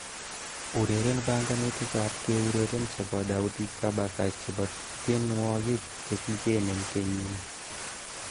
Ureren banganutikab keureren chebo Daudi Kabaka chebo tienwogik chekikinem kenyini